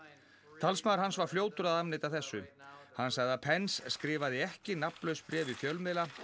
talsmaður hans var fljótur að afneita þessu hann sagði að skrifaði ekki nafnlaus bréf í fjölmiðla